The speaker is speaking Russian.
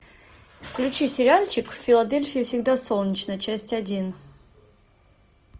включи сериальчик в филадельфии всегда солнечно часть один